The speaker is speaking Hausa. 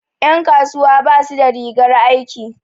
Ƴan kasuwa basu da rigar aiki.